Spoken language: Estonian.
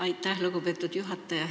Aitäh, lugupeetud juhataja!